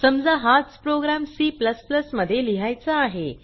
समजा हाच program C मध्ये लिहायचा आहे